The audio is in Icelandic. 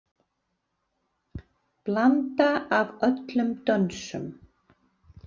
Blanda af öllum dönsum.